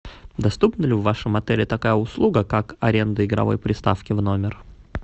доступна ли в вашем отеле такая услуга как аренда игровой приставки в номер